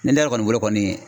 Ne yɛrɛ kɔni bolo kɔni